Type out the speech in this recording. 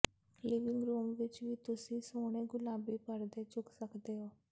living room ਵਿਚ ਵੀ ਤੁਸੀਂ ਸੋਹਣੇ ਗੁਲਾਬੀ ਪਰਦੇ ਚੁੱਕ ਸਕਦੇ ਹੋ